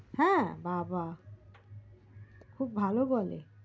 তাই না বাবা খুব ভালো বলে